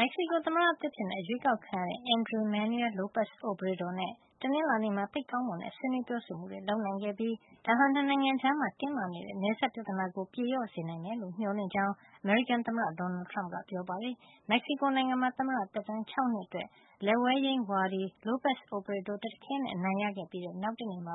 မက္ကဆီကို သမ္မတသစ်အဖြစ် အရွေးကောက်ခံရတဲ့ Andres Manuel Lopez Obrador နဲ့ တနင်္လာနေ့မှာ သိပ်ကောင်းမွန်တဲ့ ဆွေးနွေး ပြောဆိုမှုတွေ လုပ်နိုင်ခဲ့ပြီး ဒါဟာ ၂ နိုင်ငံကြား တင်းမာနေတဲ့ နယ်စပ်ပြဿနာကို ပြေလျှော့စေနိုင်မယ်လို့ မျှော်လင့်ကြောင်း အမေရိကန်သမ္မတ Donald Trump ကပြောပါတယ်။ မက္ကဆီကိုနိုင်ငံမှာ သမ္မတ သက်တမ်း ၆ နှစ်အတွက် လက်ဝဲယိမ်း ဝါဒီ Lopez Obrador တခဲနက် အနိုင်ရခဲ့ပြီးတဲ့ နောက်တနေ့မှာ